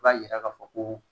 I b'a yira k'a fɔ ko